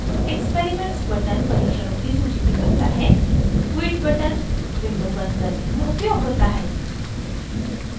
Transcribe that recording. experiments button परीक्षणों की सूची दिखाता है quit button window बंद करने में उपयोग होता है